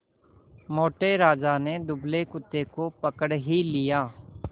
मोटे राजा ने दुबले कुत्ते को पकड़ ही लिया